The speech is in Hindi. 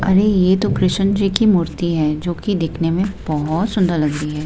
अरे ये तो कृष्ण जी की मूर्ति है जो कि दिखने में बहुत सुंदर लगती है।